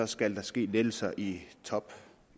skal ske lettelser i toppen